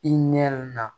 I ɲɛ na